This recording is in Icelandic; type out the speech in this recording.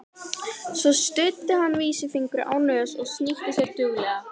Svo studdi hann vísifingri á nös og snýtti sér duglega.